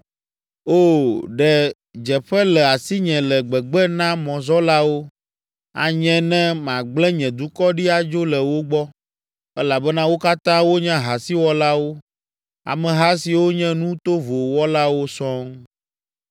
Oo, ɖe dzeƒe le asinye le gbegbe na mɔzɔlawo, anye ne magblẽ nye dukɔ ɖi adzo le wo gbɔ, elabena wo katã wonye ahasiwɔlawo, ameha siwo nye nu tovo wɔlawo sɔŋ.